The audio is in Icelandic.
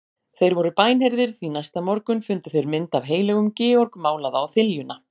Þeir voru bænheyrðir, því næsta morgun fundu þeir mynd af heilögum Georg málaða á þiljuna.